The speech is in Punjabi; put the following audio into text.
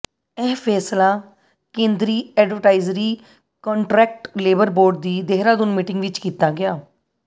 ਇਹ ਫ਼ੈਸਲਾ ਕੇਂਦਰੀ ਐਡਵਾਈਜ਼ਰੀ ਕੰਟਰੈਕਟ ਲੇਬਰ ਬੋਰਡ ਦੀ ਦੇਹਰਾਦੂਨ ਮੀਟਿੰਗ ਵਿਚ ਕੀਤਾ ਗਿਆ